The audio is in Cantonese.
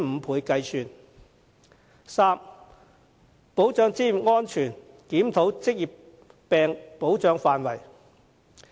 第三，保障職業安全，檢討職業病保障範圍。